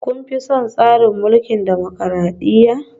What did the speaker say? Kun fi son tsarin mulkin dimokradiyya?